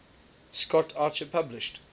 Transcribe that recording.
scott archer published